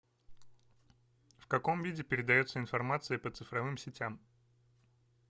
в каком виде передается информация по цифровым сетям